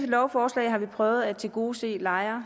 lovforslag har vi prøvet at tilgodese lejere